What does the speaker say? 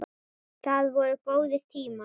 Það voru góðir tímar.